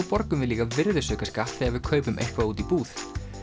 borgum líka virðisaukaskatt þegar við kaupum eitthvað úti í búð